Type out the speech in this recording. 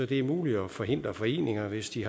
det er muligt at forhindre foreninger hvis de